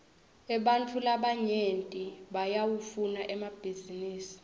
ebantfu labanyenti bayawafuna emabhisinisi